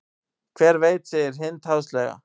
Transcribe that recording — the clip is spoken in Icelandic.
Hver veit segir Hind háðslega.